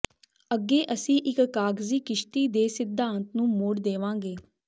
ਅੱਗੇ ਅਸੀਂ ਇਕ ਕਾਗਜ਼ੀ ਕਿਸ਼ਤੀ ਦੇ ਸਿਧਾਂਤ ਨੂੰ ਮੋੜ ਦੇਵਾਂਗੇ